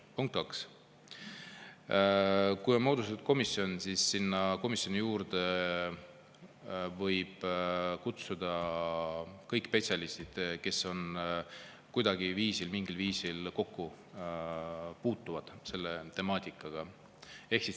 Punkt kaks: kui on moodustatud komisjon, siis sinna komisjoni juurde võib kutsuda kõik spetsialistid, kes on kuidagi, mingil viisil kokku puutunud selle temaatikaga.